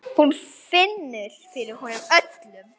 Hún finnur fyrir honum öllum.